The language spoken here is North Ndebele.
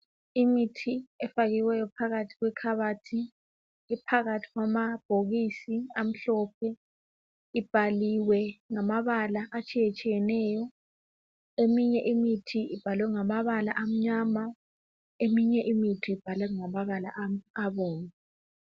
imithi efakiweyo phakathi kwekhabothi iphakathi kwamabhokisi amhlophe ibhaliwe ngamabala atshiyetshiyeneyo eminye imithi ibhalwe ngamabala amnyama eminye imithi ibhalwe ngamabala abomvu